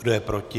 Kdo je proti?